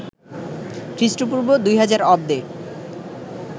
খ্রিস্টপূর্ব ২০০০ অব্দে